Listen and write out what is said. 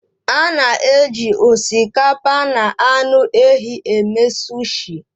A na-eji osikapa na anụ ehi eme sushi